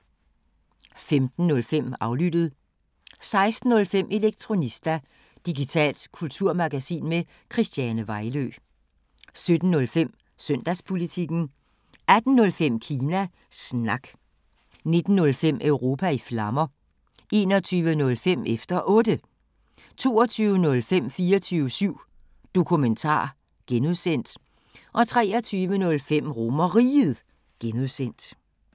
15:05: Aflyttet 16:05: Elektronista – digitalt kulturmagasin med Christiane Vejlø 17:05: Søndagspolitikken 18:05: Kina Snak 19:05: Europa i Flammer 21:05: Efter Otte 22:05: 24syv Dokumentar (G) 23:05: RomerRiget (G)